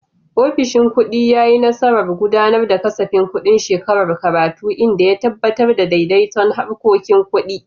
Ofishin kudi ya yi nasarar gudanar da kasafin kudin shekarar karatu, inda ya tabbatar da daidaiton harkokin kudi.